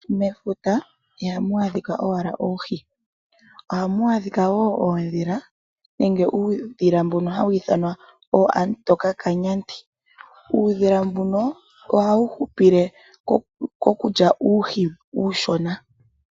Mefuta ihamu adhika owala oohi ohamu adhika woo oodhila nenge uudhula mboka ha wiithanwa ooamutoka kanyandi uudhila mbumo ohayu hupile mokulya uuhi uushona.